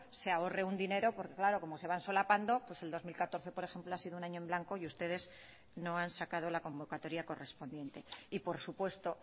se ahorre un dinero porque claro como se van solapando pues el dos mil catorce por ejemplo ha sido un año en blanco y ustedes no han sacado la convocatoria correspondiente y por supuesto